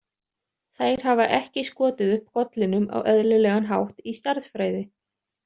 Þær hafa ekki skotið upp kollinum á eðlilegan hátt í stærðfræði.